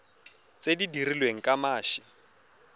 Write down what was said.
tse di dirilweng ka mashi